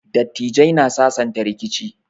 Dattijai na sasanta rikici.